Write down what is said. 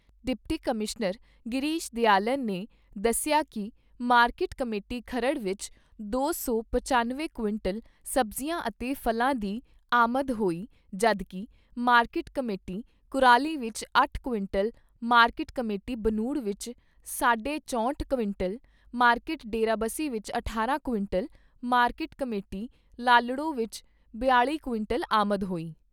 Deputy commissioner Girish Dayalan ਨੇ ਦੱਸਿਆ ਕਿ ਮਾਰਕੀਟ ਕਮੇਟੀ ਖਰੜ ਵਿੱਚ ਦੋ ਸੌ ਪਚਨਵੇਂ ਕੁਇੰਟਲ ਸਬਜ਼ੀਆਂ ਅਤੇ ਫਲਾਂ ਦੀ ਆਮਦ ਹੋਈ ਜਦੋਂ ਕਿ ਮਾਰਕੀਟ ਕਮੇਟੀ ਕੁਰਾਲੀ ਵਿੱਚ ਅੱਠ ਕੁਇੰਟਲ, ਮਾਰਕੀਟ ਕਮੇਟੀ ਬਨੂੜ ਵਿੱਚ ਸਾਢੇ ਚਹੌਤਰ ਕੁਇੰਟਲ, ਮਾਰਕੀਟ ਡੇਰਾਬੱਸੀ ਵਿੱਚ ਅਠਾਰਾਂ ਕੁਇੰਟਲ, ਮਾਰਕੀਟ ਕਮੇਟੀ ਲਾਲੜੂ ਵਿੱਚ ਬਿਆਲ਼ੀ ਕੁਇੰਟਲ ਆਮਦ ਹੋਈ।